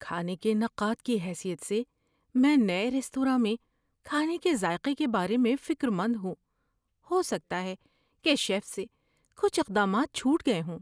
کھانے کے نقاد کی حیثیت سے، میں نئے ریستوراں میں کھانے کے ذائقے کے بارے میں فکر مند ہوں۔ ہو سکتا ہے کہ شیف سے کچھ اقدامات چھوٹ گئے ہوں۔